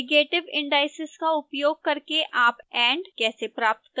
negative indices का उपयोग करके आप and कैसे प्राप्त करेंगे